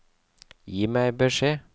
Gi meg beskjed